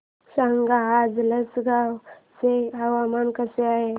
सांगा आज लासलगाव चे हवामान कसे आहे